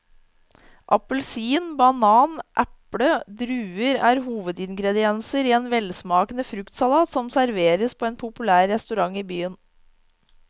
Appelsin, banan, eple og druer er hovedingredienser i en velsmakende fruktsalat som serveres på en populær restaurant i byen.